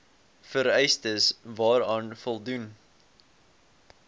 vereistes waaraan voldoen